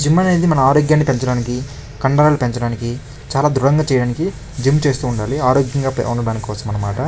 Gym అనేది మన ఆరోగ్యాన్ని పెంచడానికి కండలను పెంచడానికి చాలా దృఢంగా చేయడానికి జిమ్ చేస్తుండాలి ఆరోగ్యంగా ఉండడం కోసం అన్నమాట.